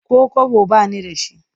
Ko kwabo ba ni da shi.